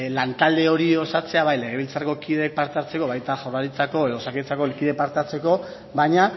lantalde hori osatzea bai legebiltzarreko kideek parte hartzeko baita jaurlaritzako edo osakidetzako kideek parte hartzeko baina